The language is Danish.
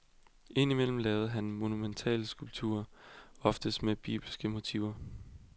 Ind imellem lavede han monumentalskulpturer, oftest med bibelske motiver.